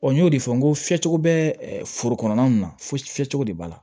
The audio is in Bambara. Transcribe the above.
n y'o de fɔ n ko fiyɛcogo bɛ foro kɔnɔna na fɔcogo de b'a la